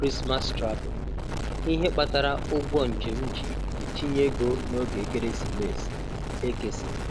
Christmas Travel: Ihe kpatara ụgwọ njem ji etinye ego n'oge Ekeresimesi -Ekeson